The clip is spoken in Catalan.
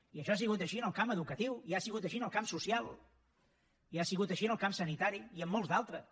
i això ha sigut així en el camp educatiu i ha sigut així en el camp social i ha sigut així en el camp sanitari i en molts d’altres